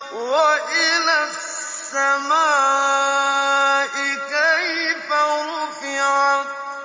وَإِلَى السَّمَاءِ كَيْفَ رُفِعَتْ